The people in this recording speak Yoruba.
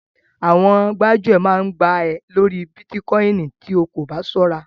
Àwọn gbájúẹ̀ máa gbá ẹ lórí Bítíkoìnì tí o kò bá ṣọ́ra.